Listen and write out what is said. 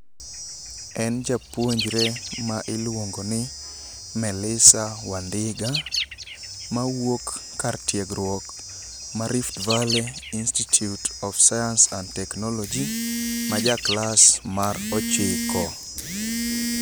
En japuonjre ma iluongoni Melisa Wandiga mawuok kar tiegruok ma rift valley institute of science and technology ma ja klas mar ochiko.